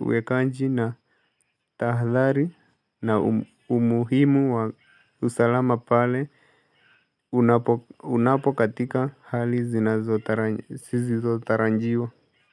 uwekaji na tahadhari na umuhimu wa usalama pale unapokatika hali zinazotarajiwa.